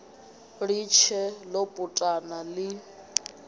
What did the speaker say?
ḽi tshee ḽo putana ḽi